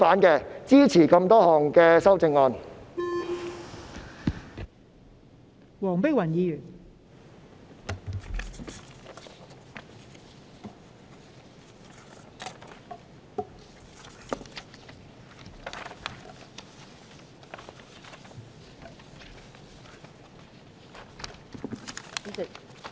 因此，我會支持所有修正案。